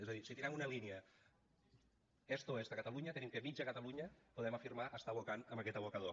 és a dir si tirem una línia est oest a catalunya tenim que mitja catalunya podem afirmar està abocant en aquest abocador